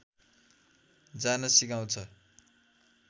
जान सिकाउँछ